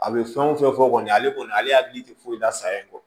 A bɛ fɛn o fɛn fɔ kɔni ale kɔni ale hakili tɛ foyi la sa i kɔ